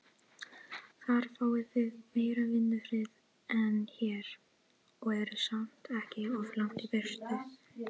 Þar fáið þið meiri vinnufrið en hér, og eruð samt ekki of langt í burtu.